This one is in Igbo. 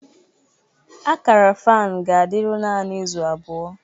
Akara fan ga-adịru naanị izu abụọ